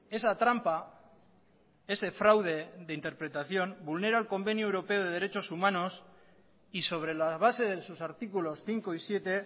esa trampa ese fraude de interpretación vulnera el convenio europeo de derechos humanos y sobre la base de sus artículos cinco y siete